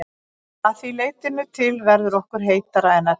Að því leytinu til verður okkur heitara en ella.